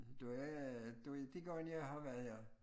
Det var det var de gange jeg har været her